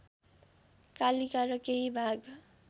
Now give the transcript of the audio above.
कालिका र केही भाग